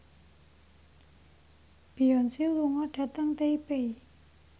Beyonce lunga dhateng Taipei